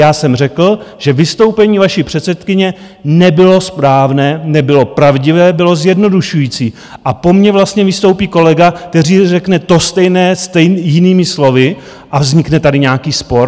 Já jsem řekl, že vystoupení vaší předsedkyně nebylo správné, nebylo pravdivé, bylo zjednodušující a po mně vlastně vystoupí kolega, kteří řekne to stejné, jinými slovy, a vznikne tady nějaký spor?